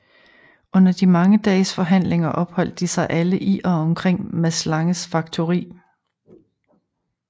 Under de mange dages forhandlinger opholdt de sig alle i og omkring Mads Langes faktori